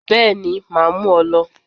Bẹ́ẹ̀ni màá mú ọ lọ